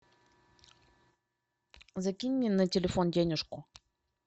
закинь мне на телефон денежку